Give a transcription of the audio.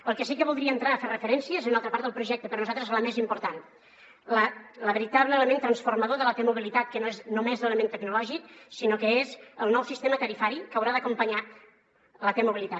al que sí que voldria entrar a fer referència és a una altra part del projecte per nosaltres la més important el veritable element transformador de la t mobilitat que no és només l’element tecnològic sinó que és el nou sistema tarifari que haurà d’acompanyar la t mobilitat